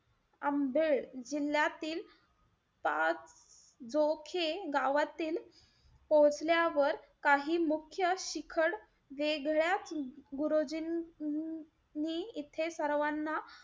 आंबेड जिल्ह्यातील, पाच जोखे गावातील पोहोचल्यावर, काही मुख्य शिखड वेगळ्या गुरुजींनी इथे सर्वांना,